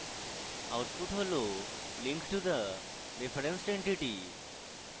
output হল linked to the referenced entity